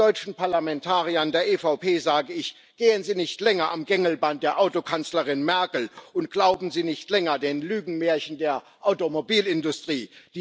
Den deutschen Parlamentariern der EVP sage ich Gehen Sie nicht länger am Gängelband der Autokanzlerin Merkel und glauben Sie nicht länger den Lügenmärchen der Automobilindustrie!